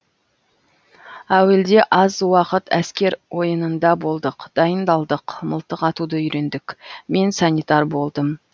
әуелде аз уақыт әскер ойынында болдық дайындалдық мылтық атуды үйрендік мен санитар болдым